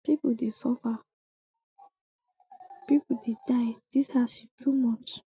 pipo dey suffer pipo dey die dis hardship too much